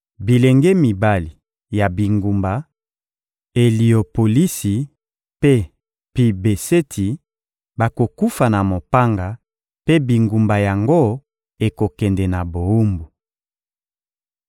Bilenge mibali ya bingumba Eliopolisi mpe Pi-Beseti bakokufa na mopanga, mpe bingumba yango ekokende na bowumbu.